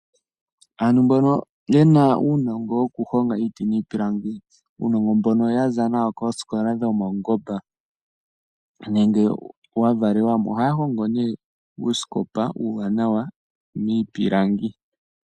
Aantu mbono yena uunongo wokuhonga iiti niipilangi , uunongo mbono ya za nawo koosikola dhopaungomba nenge wa valelwamo ohaya hongo nduno uusikopa uuwanawa miipilangi.